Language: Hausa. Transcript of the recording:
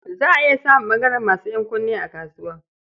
Za a iya samun ɓangaren masu ƴankunne a kasuwa.